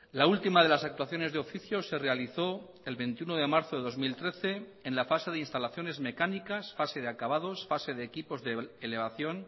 la última de las actuaciones de oficio se realizó el veintiuno de marzo de dos mil trece en la fase de instalaciones mecánicas fase de acabados fase de equipos de elevación